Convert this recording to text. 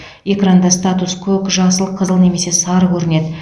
экранда статус көк жасыл қызыл немесе сары көрінеді